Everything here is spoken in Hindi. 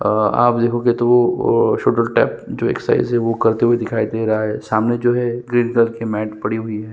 आ आप देखोगे तो वो सुदल टाइप जो एक्सरसाइज वो करते हुए दिखाई दे रहा है सामने जो है ग्रीन कलर की मैट पड़ी हुई है।